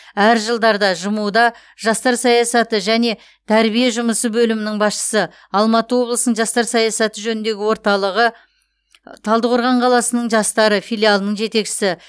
әр жылдарда жму да жастар саясаты және тәрбие жұмысы бөлімінің басшысы алматы облысының жастар саясаты жөніндегі орталығы талдықорған қаласының жастары филиалының жетекшісі